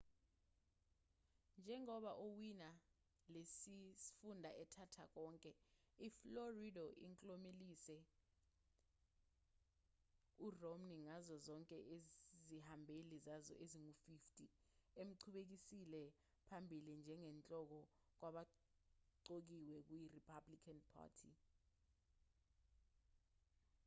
njengoba owina lesi sifunda ethatha konke iflorida inklomelise uromney ngazo zonke izihambeli zayo ezingu-50 emqhubekisele phambili njengenhloko kwabaqokiwe kuyi-republican party